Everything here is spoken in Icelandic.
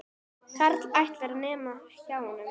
Karl ætlar, nema hjá honum.